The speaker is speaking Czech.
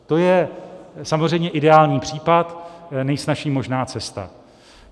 To je samozřejmě ideální případ, nejsnazší možná cesta.